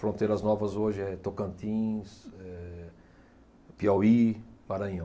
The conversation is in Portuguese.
Fronteiras novas hoje é Tocantins, é Piauí, Maranhão.